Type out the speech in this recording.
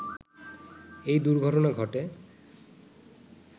এই দুর্ঘটনা ঘটে